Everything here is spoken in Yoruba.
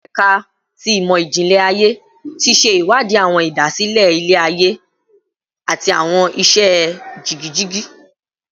Ẹka ti Imọ-jinlẹ Aye ti ṣe iwadi awọn idasile ilẹ-aye ati awọn iṣẹ jigijigi